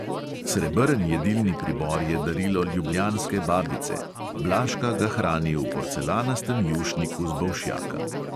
Srebrn jedilni pribor je darilo ljubljanske babice, blažka ga hrani v porcelanastem jušniku z bolšjaka.